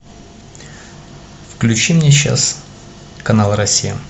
включи мне сейчас канал россия